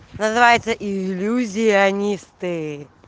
называется иллюзионисты